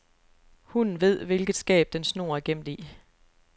Hunden ved, hvilket skab dens snor er gemt i.